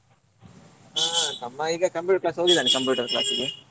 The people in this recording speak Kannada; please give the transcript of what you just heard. ಹಾ ತಮ್ಮ ಈಗ computer class ಗೆ ಹೋಗಿದ್ದಾನೆ computer class ಗೆ.